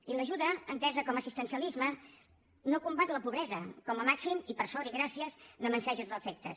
i l’ajuda entesa com a assistencialisme no combat la pobresa com a màxim i per sort i gràcies n’amanseix els efectes